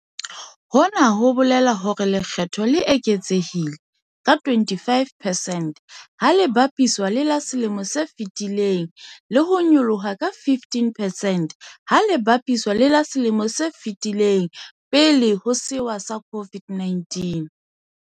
Hona ho bolela hore lekge tho le le eketsehile ka 25 percent ha le bapiswa le la selemong se fetileng le ho nyolloha ka 15 percent ha le bapiswa le la selemong se fetileng pele ho sewa sa COVID-19.